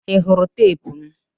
Ị hụrụ teepu m?